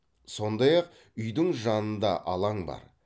сондай ақ үйдің жанында алаң бар